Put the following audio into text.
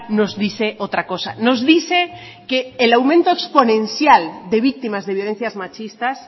nos dice otra cosa nos dice que el aumento exponencial de víctimas de violencias machistas